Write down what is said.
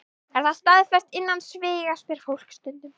Er það staðfest innan sviga? spyr fólk stundum.